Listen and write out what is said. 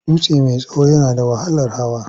Dutse mai tsawo yana da wahalar hawa.